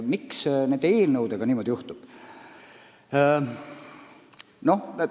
Miks nende eelnõudega niimoodi juhtub?